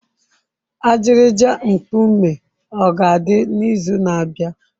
Ajịrịja nkume a ga-adị n'izu na-abịa?